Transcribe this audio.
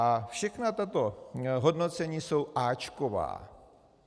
A všechna tato hodnocení jsou áčková.